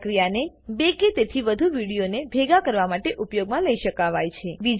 આ પ્રક્રિયાને બે કે તેથી વધુ વિડીયોને ભેગા કરવા માટે ઉપયોગમાં લઇ શકાવાય છે